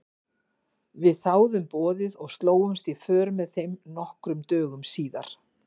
Við þáðum boðið og slógumst í för með þeim nokkrum dögum síðar.